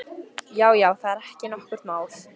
Já, já, það er ekki nokkurt mál.